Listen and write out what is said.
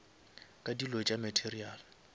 ka dilo tša material